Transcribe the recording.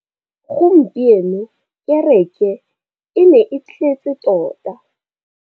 Gompieno kêrêkê e ne e tletse tota.